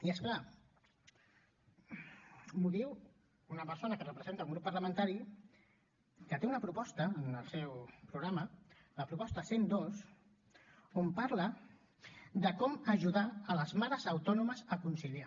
i és clar m’ho diu una persona que representa un grup parlamentari que té una proposta en el seu programa la proposta cent i dos on parla de com ajudar les mares autònomes a conciliar